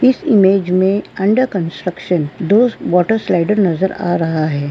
इस इमेज में under construction दो वाटर स्लाइडर नज़र आ रहा है।